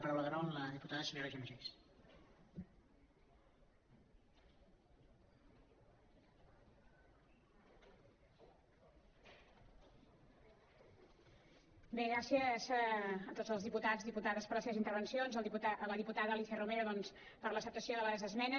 bé gràcies a tots els diputats diputades per les seves intervencions a la diputada alícia romero doncs per l’acceptació de les esmenes